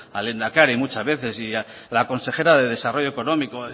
al lehendakari muchas veces y a la consejera de desarrollo económico